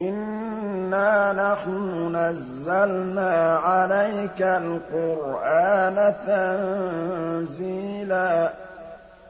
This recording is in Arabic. إِنَّا نَحْنُ نَزَّلْنَا عَلَيْكَ الْقُرْآنَ تَنزِيلًا